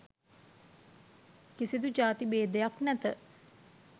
කිසිදු ජාති භේදයක් නැත.